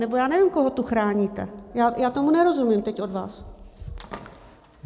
Nebo já nevím, koho tu chráníte, já tomu nerozumím teď od vás.